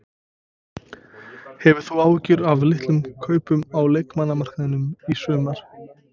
Hefur þú áhyggjur af litlum kaupum á leikmannamarkaðinum í sumar?